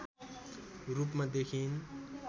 रूपमा देखिइन्